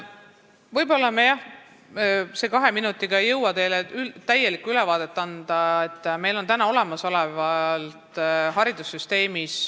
Võib-olla ma ei jõua selle kahe minutiga teile täielikku ülevaadet anda, aga meil on haridussüsteemis mitu näidet olemas.